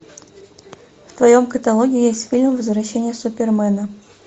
в твоем каталоге есть фильм возвращение супермена